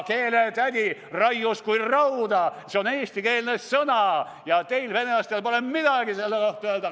Keeletädi raius kui rauda: see on eestikeelne sõna ja teil, venelastel, pole midagi selle kohta öelda.